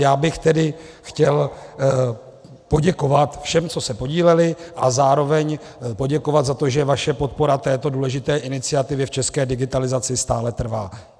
Já bych tedy chtěl poděkovat všem, co se podíleli, a zároveň poděkovat za to, že vaše podpora této důležité iniciativy v české digitalizaci stále trvá.